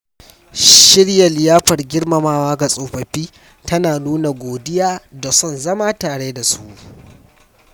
Shirya liyafar girmamawa ga tsofaffi tana nuna godiya da son zama tare da su.